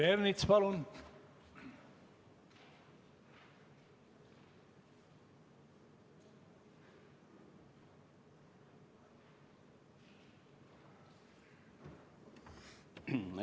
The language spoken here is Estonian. Peeter Ernits, palun!